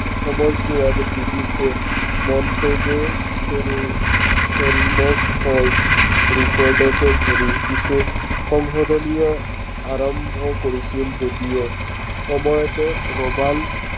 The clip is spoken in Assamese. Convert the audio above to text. সময়ছোৱাত বৃটিছে মন্টেগ' ধৰি কিছু সংশোধনীয়, আৰম্ভ কৰিছিল যদিও, সময়তে ৰৱাল্ট